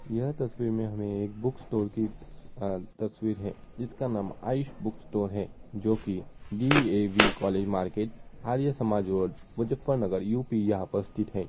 यह तस्वीर में हमें एक बुक स्टोर की अ तस्वीर है जिसका नाम आयुष बुक स्टोर है जो की D. A. V. College market Arya Samaj road Muzaffarnagar U. P. यहाँ पर उपस्थित है।